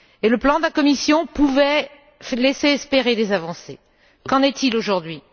Et le plan de la Commission pouvait laisser espérer des avancées. Qu'en est il aujourd'hui?